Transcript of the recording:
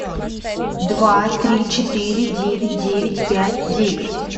два три четыре девять девять пять девять